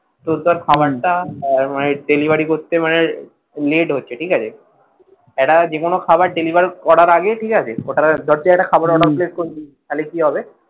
ধর তোর খাবারটা delivery করতে মানে late হচ্ছে ঠিক আছে একটা যে কোন খাবার deliver করার আগে ঠিক আছে ধর তুই একটা খাবার order place করেছিস তাহলে কি হবে,